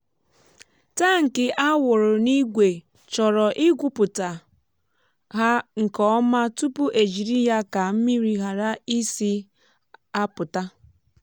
tankị a wụrụ n’ígwè chọrọ ịgwupụta ha nke ọma tupu ejiri ya ka mmiri ghara isi apụta.